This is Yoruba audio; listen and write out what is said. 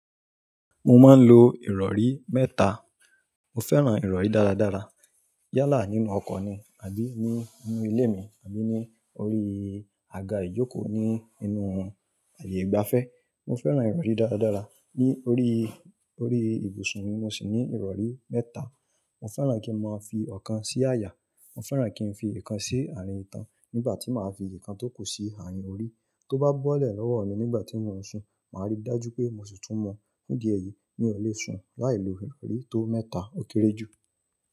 Mo máa ń lo ìrọ̀rí mẹ́ta. Mo fẹ́ràn ìrọ̀rí dára dára. Yálà nínú ọkọ̀ ni àbí ní inú ilé mi àbí ni orí àga ìjókòó ní inú ààyè ìgbafẹ́. Mo fẹ́ràn ìrọ̀rí dára dára. Ní orí, orí ibùsùn mi, mo sì ní ìrọ̀rí mẹ́ta. Mo fẹ́ràn kí n máa fi ọ̀kan sí àyà, mo fẹ́ràn kí n fi ikàn sí àárín ìtàn nígbà tí màá fi ikàn tó kù sí àárín orí. Tó bá bọ́lẹ̀ lọ́wọ́ mi nígbà tí mò ń sùn, màá rí dájú pé mo sì tún mu. Ní di eyìí, mi ò lè sùn láìlo ìrọ̀rí tó mẹ́ta ó kéré jù.